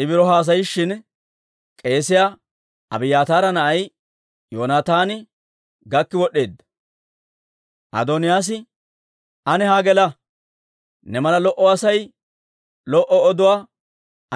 I biro haasayishin k'eesiyaa Abiyaataara na'ay Yoonataani gakki wod'd'eedda. Adooniyaas, «Ane haa gela. Ne mala lo"o Asay lo"o oduwaa